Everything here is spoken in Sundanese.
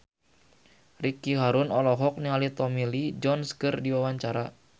Ricky Harun olohok ningali Tommy Lee Jones keur diwawancara